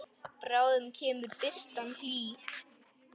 Bráðum kemur birtan hlý.